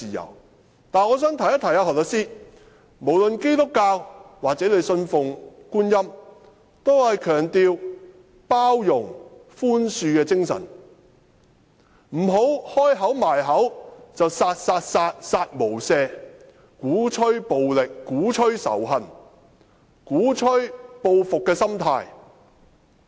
然而，我想提醒何律師，無論是基督教或他信奉觀音，均是強調包容、寬恕的精神，不要張口閉口說"殺、殺、殺、殺無赦"，鼓吹暴力，鼓吹仇恨，鼓吹報復的心態。